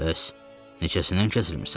Bəs neçəsindən kəsilmisən?